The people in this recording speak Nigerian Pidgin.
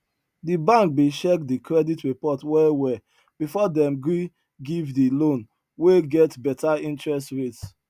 di bank bin check di credit report well well before dem gree give di loan wey get better interest rates